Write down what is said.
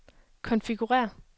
konfigurér